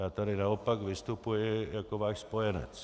Já tady naopak vystupuji jako váš spojenec.